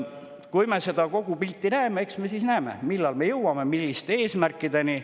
Kui me seda kogu pilti näeme, eks me siis näeme, millal me jõuame milliste eesmärkideni.